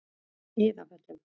Iðavöllum